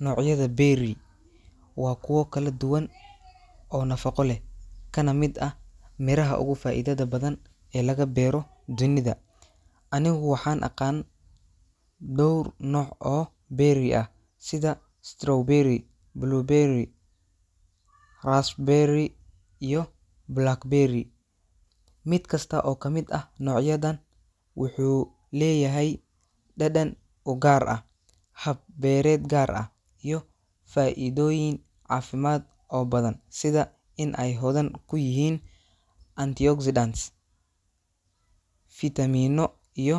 Noocyada berry waa kuwo kala duwan oo nafaqo leh, kana mid ah miraha ugu faa'iidada badan ee laga beero dunida. Anigu waxaan aqaan dhowr nooc oo berry ah sida strawberry, blueberry, raspberry, iyo blackberry. Mid kasta oo ka mid ah noocyadan wuxuu leeyahay dhadhan u gaar ah, hab beereed gaar ah, iyo faa’iidooyin caafimaad oo badan sida in ay hodan ku yihiin antioxidants, fiitamiinno iyo